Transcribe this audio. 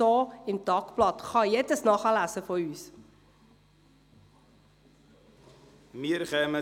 Auch Sie heisse ich herzlich willkommen.